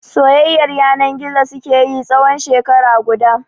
Soyayyar yana gizo suke yi da shi tsawon shekara guda.